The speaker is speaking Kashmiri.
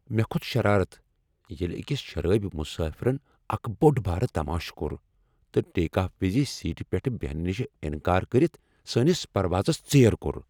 مےٚ کھوٚت شرارت ییٚلہ أکس شرٲبۍ مسٲفرن اکھ بوٚڑ بارٕ تماشہٕ کوٚر تہٕ ٹیک آف وز سیٖٹہ پیٹھ بہنہٕ نش انکار کٔرتھ سٲنس پروازس ژیر کوٚر۔